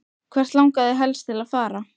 Hvert langar þig helst til að fara?